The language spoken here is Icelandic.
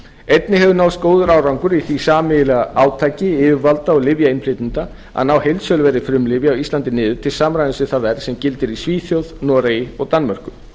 einnig hefur náðst góður árangur í því sameiginlega átaki yfirvalda og lyfjainnflytjenda að ná heildsöluverði frumlyfja á íslandi niður til samræmis við það verð sem gildir í svíþjóð noregi og danmörku